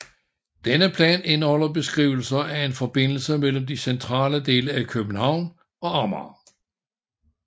Denne plan indeholder beskrivelser af en forbindelse mellem de centrale dele af København og Amager